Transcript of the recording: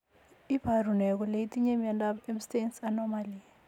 Iporu ne kole itinye miondap Ebstein's anomaly?